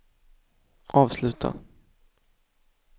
avsluta